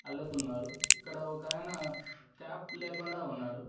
అల్లుతున్నారు ఇక్కడ ఒకాయన క్యాప్ లేకుండా ఉన్నాడు.